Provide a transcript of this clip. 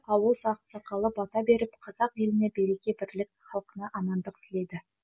ауыл ақсақалы бата беріп қазақ еліне береке бірлік халқына амандық тіледі